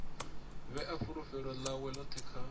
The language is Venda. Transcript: vhea fulufhelo ḽawe ḽoṱhe kha